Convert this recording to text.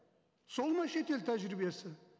сол ма шетел тәжірибесі